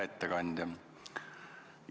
Hea ettekandja!